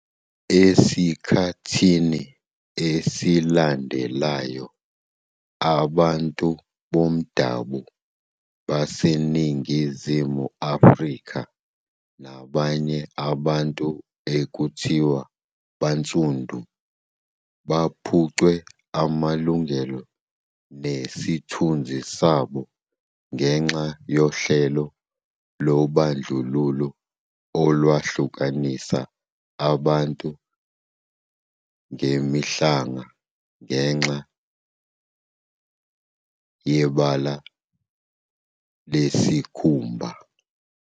Esikhathini esilandelayo, abantu bomdabo baseNingizimu Afrika nabanye abantu ekuthiwa bansundu baphucwe amalungelo nesithunzi sabo ngexa yohlelo lobandlululo olwahlukanisa abantu ngemihlanga ngexa yobala lwesikhumba.